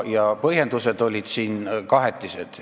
Ja põhjendused olid kahetised.